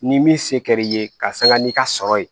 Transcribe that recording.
Ni min se kɛr'i ye ka sanga n'i ka sɔrɔ ye